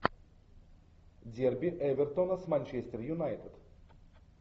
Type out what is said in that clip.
дерби эвертона с манчестер юнайтед